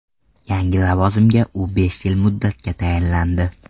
Yangi lavozimga u besh yil muddatga tayinlandi.